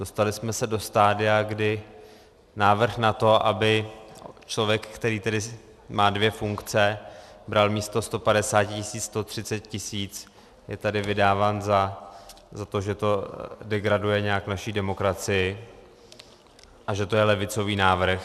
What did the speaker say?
Dostali jsme se do stadia, kdy návrh na to, aby člověk, který tedy má dvě funkce, bral místo 150 tisíc 130 tisíc, je tady vydáván za to, že to degraduje nějak naši demokracii a že to je levicový návrh.